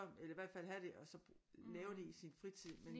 Eller i hvert fald have det og så lave det i sin fritid